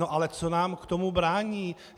No ale co nám v tom brání?